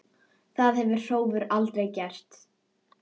Það hefði Hrólfur aldrei gert.